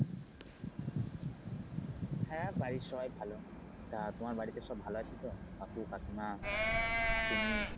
হ্যা বাড়ির সবাই ভালো আছে তা তোমার বাড়িতে সব ভালো আছে তো কাকু কাকিমা তুমি?